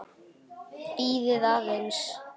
Bíðið aðeins!